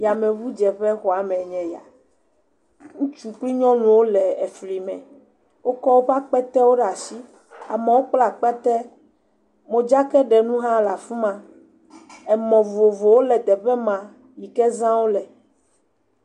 Yameŋudeƒe xɔa mee nye ya. Ŋutsu kple nyɔnuwo le efli me. Wokɔ woƒe akpetewo ɖe ashi. Amewo kplaa kpete. Modzakaɖenu hã le fi ma. Emɔ vovovowo le eteƒe ma yi ke zã wole.